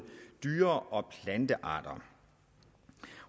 dyre og plantearter